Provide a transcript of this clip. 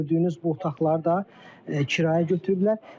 Gördüyünüz bu otaqları da kirayə götürüblər.